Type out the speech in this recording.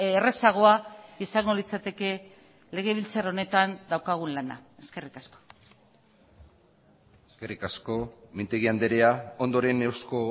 errazagoa izango litzateke legebiltzar honetan daukagun lana eskerrik asko eskerrik asko mintegi andrea ondoren euzko